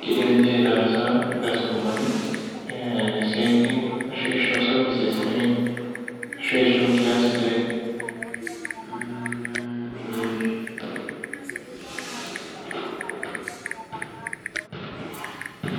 kidim ninche aitaasa irkastomani, isiaitin ashu isho services sidain. Ashu isho nkias sidain.